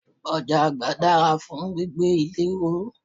Ọ̀jáàgbá dára fún gbígbé ilé ró.